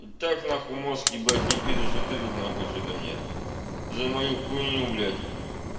и так нахуй мозг ебать кипит и что ты тут нахуй мне что-то мне за мою хуйню блять